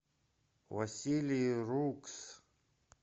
василий рукс